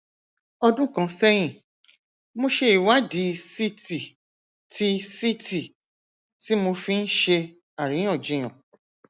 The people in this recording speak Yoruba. ọdún kan sẹyìn mo ṣe ìwádìí ct tí ct tí mo fi ń ṣe àríyànjiyàn